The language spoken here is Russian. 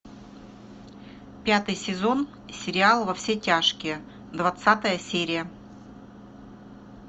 пятый сезон сериал во все тяжкие двадцатая серия